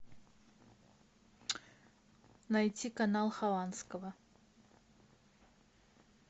найти канал хованского